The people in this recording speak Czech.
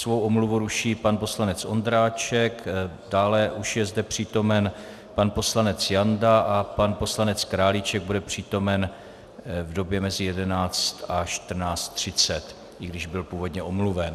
Svou omluvu ruší pan poslanec Ondráček, dále už je zde přítomen pan poslanec Janda a pan poslance Králíček bude přítomen v době mezi 11 a 14.30, i když byl původně omluven.